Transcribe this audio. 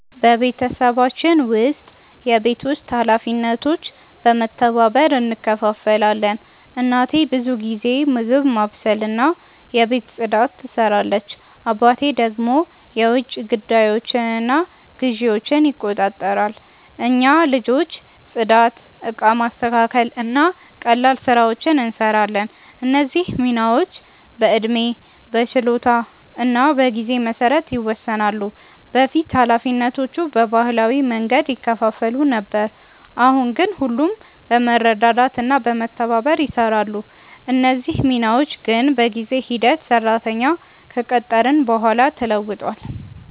በቤተሰባችን ውስጥ የቤት ውስጥ ኃላፊነቶች በመተባበር እንከፋፈላለን። እናቴ ብዙ ጊዜ ምግብ ማብሰልና የቤት ፅዳት ትሰራለች፣ አባቴ ደግሞ የውጭ ጉዳዮችንና ግዢዎችን ይቆጣጠራሉ። እኛ ልጆች ጽዳት፣ እቃ ማስተካከል እና ቀላል ስራዎችን እንሰራለን። እነዚህ ሚናዎች በዕድሜ፣ በችሎታ እና በጊዜ መሰረት ይወሰናሉ። በፊት ኃላፊነቶቹ በባህላዊ መንገድ ይከፋፈሉ ነበር፣ አሁን ግን ሁሉም በመረዳዳት እና በመተባበር ይሰራሉ። እነዚህ ሚናዎች ግን በጊዜ ሂደት ሰራተኛ ከቀጠርን በኋላ ተለውጧል።